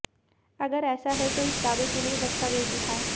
अगर ऐसा है तो इस दावे के लिए दस्तावेज दिखाए